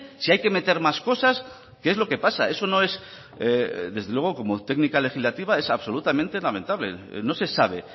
si hay que meter más cosas qué es lo que pasa eso no es desde luego como técnica legislativa es absolutamente lamentable no se sabe